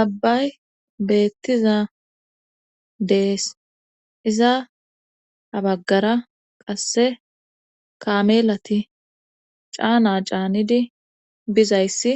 abbay beettiza dees iza abaggara qasse kamelati caana caanidi bizayssi